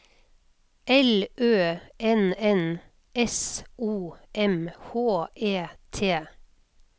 L Ø N N S O M H E T